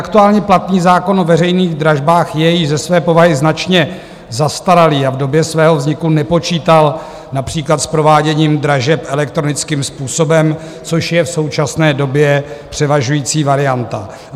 Aktuálně platný zákon o veřejných dražbách je již ze své povahy značně zastaralý a v době svého vzniku nepočítal například s prováděním dražeb elektronickým způsobem, což je v současné době převažující varianta.